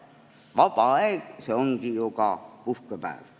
Vaba aeg, see ongi ju ka puhkepäev.